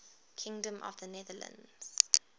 kingdom of the netherlands